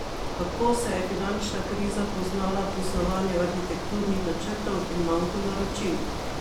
Kako se je finančna kriza poznala pri snovanju arhitekturnih načrtov in manku naročil?